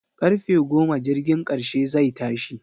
Karfe goma jirgin karshe zai tashi